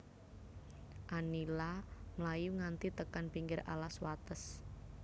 Anila mlayu nganti tekan pinggir alas wates